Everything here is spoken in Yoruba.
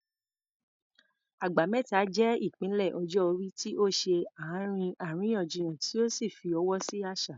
Agba Meta" jẹ́ ìpele ọjọ́ orí tí ó ṣe àárín àríyànjiyàn tí ó sì fọwọ́ sí àṣà.